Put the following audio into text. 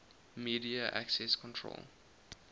media access control